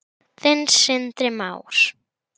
Þinn, Sindri Már.